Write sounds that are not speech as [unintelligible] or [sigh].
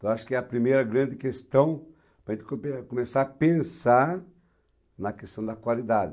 Então, acho que é a primeira grande questão para a gente [unintelligible] começar a pensar na questão da qualidade.